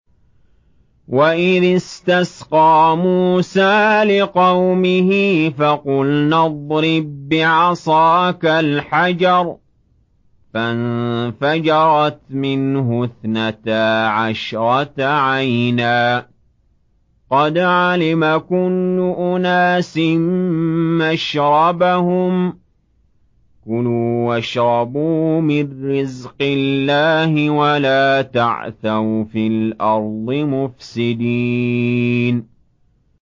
۞ وَإِذِ اسْتَسْقَىٰ مُوسَىٰ لِقَوْمِهِ فَقُلْنَا اضْرِب بِّعَصَاكَ الْحَجَرَ ۖ فَانفَجَرَتْ مِنْهُ اثْنَتَا عَشْرَةَ عَيْنًا ۖ قَدْ عَلِمَ كُلُّ أُنَاسٍ مَّشْرَبَهُمْ ۖ كُلُوا وَاشْرَبُوا مِن رِّزْقِ اللَّهِ وَلَا تَعْثَوْا فِي الْأَرْضِ مُفْسِدِينَ